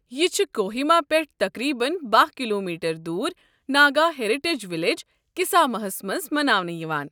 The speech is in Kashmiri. یہِ چھُ کوہیما پٮ۪ٹھ تقریباً بہہ کلومیٹر دوُر ناگا ہیریٹیج وِلیج، کسامہ ہَس مَنٛز مَناونہٕ یِوان۔